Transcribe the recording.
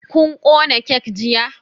Kun kona kek jiya?